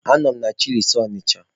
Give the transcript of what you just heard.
Anọ m na chịlịs Ọnịcha.